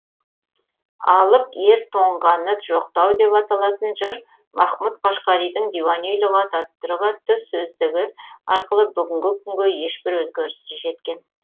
алып ер тоңғаны жоқтау деп аталатын жыр махмұт қашқаридың диуани лұғат ат түрк атты сөздігі аркылы бүгінгі күнге ешбір өзгеріссіз жеткен